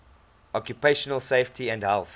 occupational safety and health